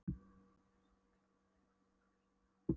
Steingrímsson sýslumaður beið okkar með kaffisopa.